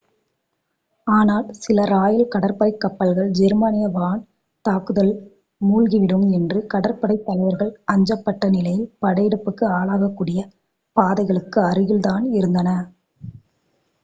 ஆனால் சில ராயல் கடற்படை கப்பல்கள் ஜெர்மானிய வான் தாக்குதலால் மூழ்கிவிடும் என்று கடற்படைத்தலைவர்கள் அஞ்சப்பட்ட நிலையில் படையெடுப்புக்கு ஆளாகக்கூடியப் பாதைகளுக்கு அருகில் தான் இருந்தன